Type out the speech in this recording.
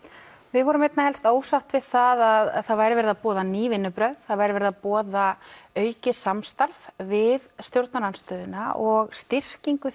við vorum einna helst ósátt við það að það væri verið að boða ný vinnubrögð það væri verið að boða aukið samstarf við stjórnarandstöðuna og styrkingu